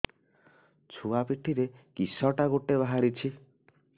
ଛୁଆ ପିଠିରେ କିଶଟା ଗୋଟେ ବାହାରିଛି